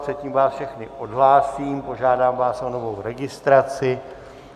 Předtím vás všechny odhlásím, požádám vás o novou registraci.